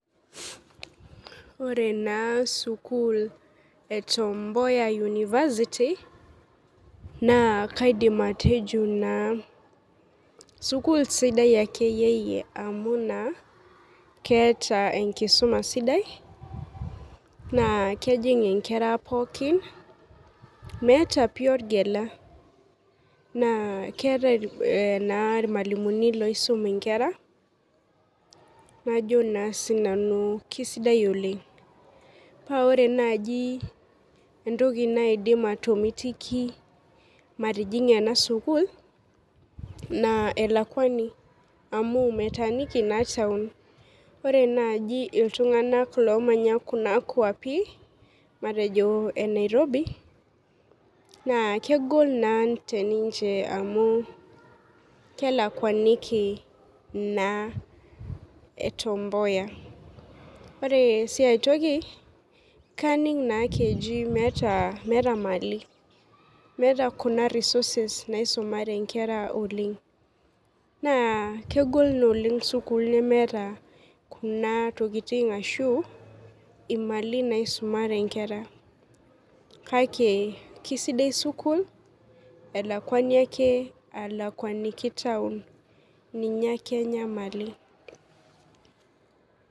Ore naa sukuul e Tom mboya university naa kaidim atejo naa sukuul sidai akeyie yie amu naa keeta enkisuma sidai naa kejing inkera pookin meeta pii orgela naa keeta eh naa irmalimuni loisum inkera najo naa sinanu kisidai oleng paa ore naaji entoki naidim atomitiki matijing'a ena sukuul naa elakuani amu metaaniki naa taon ore naaji iltung'anak lomanya kuna kuapi matejo e nairobi naa kegol naa teninche amu kelakuaniki naa Tom mboya ore sii aetoki kaning naa ekeji meeta imali meeta kuna resources naisumare inkera oleng naa kegol oleng sukuul nemeeta kuna tokiting ashu imali naisumare inkera kake kisidai sukuul elakuani ake alakuaninki taon ninye ake enyamali.